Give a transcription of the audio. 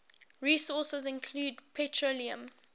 resources include petroleum